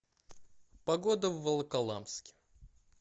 погода в волоколамске